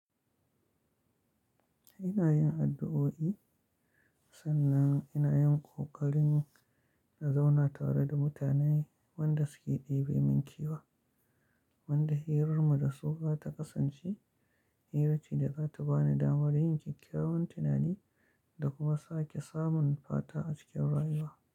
Ina yin addu'o'i sannan ina yin ƙoƙarin na zauna tare da mutanen wanda suke ɗebe min kewa, wanda hirar mu da su za ta kasance hira ce da za ta ba ni damar yin kyakkyawan tunani da kuma sake samun fata a cikin rayuwa.